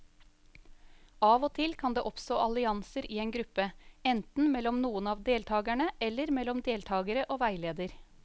Av og til kan det oppstå allianser i en gruppe, enten mellom noen av deltakerne eller mellom deltakere og veileder.